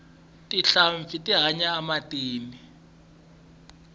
tinhlampfi ti hanya ematini